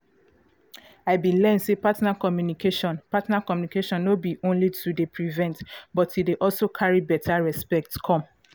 i been learn say partner communication partner communication no be only to dey prevent but e dey also carry beta respect come